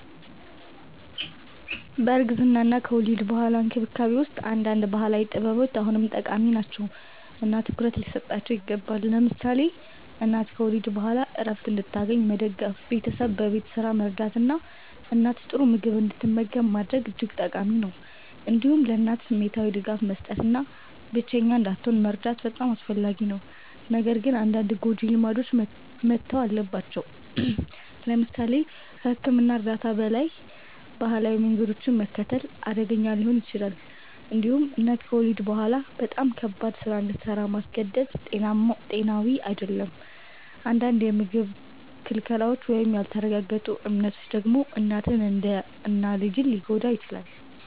በእርግዝና እና ከወሊድ በኋላ እንክብካቤ ውስጥ አንዳንድ ባህላዊ ጥበቦች አሁንም ጠቃሚ ናቸው እና ትኩረት ሊሰጣቸው ይገባል። ለምሳሌ እናት ከወሊድ በኋላ ዕረፍት እንድታገኝ መደገፍ፣ ቤተሰብ በቤት ስራ መርዳት እና እናት ጥሩ ምግብ እንድትመገብ ማድረግ እጅግ ጠቃሚ ነው። እንዲሁም ለእናት ስሜታዊ ድጋፍ መስጠት እና ብቸኛ እንዳትሆን መርዳት በጣም አስፈላጊ ነው። ነገር ግን አንዳንድ ጎጂ ልማዶች መተው አለባቸው። ለምሳሌ ከሕክምና እርዳታ በላይ ባህላዊ መንገዶችን መከተል አደገኛ ሊሆን ይችላል። እንዲሁም እናት ከወሊድ በኋላ በጣም ከባድ ስራ እንድሰራ ማስገደድ ጤናዊ አይደለም። አንዳንድ የምግብ ክልከላዎች ወይም ያልተረጋገጡ እምነቶች ደግሞ እናትን እና ልጅን ሊጎዱ ይችላሉ።